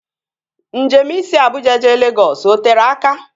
Njem isi Abuja jee Legọs o tere aka?